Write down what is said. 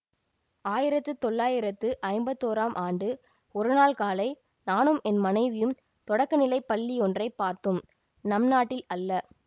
ஆ யிரத்துத் தொள்ளாயிரத்து ஐம்பத்தோராம் ஆண்டு ஒரு நாள் காலை நானும் என் மனைவியும் தொடக்க நிலை பள்ளியொன்றைப் பார்த்தோம் நம் நாட்டில் அல்ல